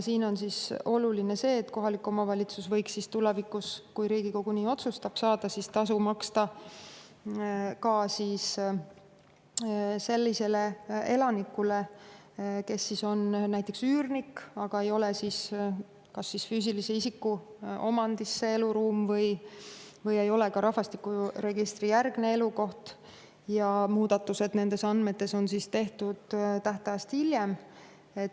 Siinjuures on oluline see, et kohalik omavalitsus võiks tulevikus, kui Riigikogu nii otsustab, saada tasu maksta ka sellisele elanikule, kes on näiteks üürnik, aga kelle eluruum ei ole kas füüsilise isiku omandis või ei ole see tema rahvastikuregistrijärgne elukoht, ja muudatused nendes andmetes on tehtud tähtajast hiljem.